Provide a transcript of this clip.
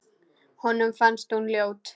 Honum fannst hún ljót.